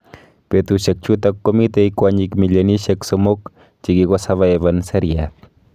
Betusuiek chutok komitei kwanyik milionishek somok chekikoservaivan seriat